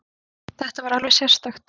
Þetta var alveg sérstakt.